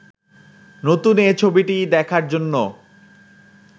নতুন এ ছবিটি দেখার জন্য